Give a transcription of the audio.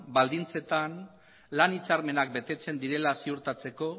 baldintzetan lan hitzarmenak betetzen direla ziurtatzeko